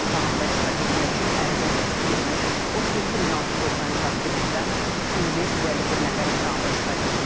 İmtahanda iştirak etmək üçün ərizə təsdiq etmiş 37693 abituriyentdən 1551 nəfər imtahanda iştirak etməyib.